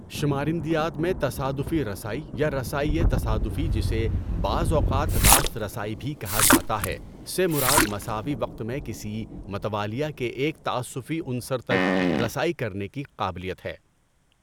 شمارندیات میں تصادفی رسائی یا رسائئ تصادفی جسے بعض اوقات راست رسائی بھی کہا جاتا ہے ، سے مراد مساوی وقت میں کسی متوالیہ کے ایک تعسّفی عنصر تک رسائی کرنے کی قابلیت ہے۔